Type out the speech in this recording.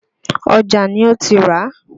Ọjà ni ó ti ràá.